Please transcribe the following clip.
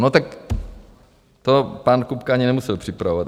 No, tak to pan Kupka ani nemusel připravovat.